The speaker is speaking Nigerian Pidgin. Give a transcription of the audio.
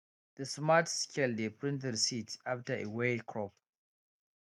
the smart scale dey print receipt after e weigh crop